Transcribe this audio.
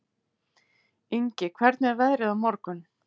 Ingi, hvernig er veðrið á morgun?